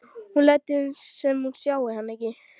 Hún lætur sem hún sjái hann ekki.